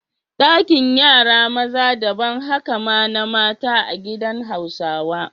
Dakin yara maza daban, haka ma na mata a gidan Hausawa.